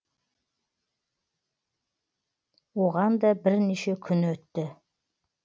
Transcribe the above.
оған да бірнеше күн өтті